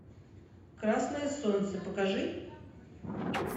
красное солнце покажи